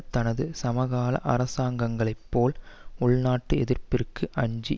தனது சமகால அரசாங்கங்களை போல் உள்நாட்டு எதிர்ப்புக்கு அஞ்சி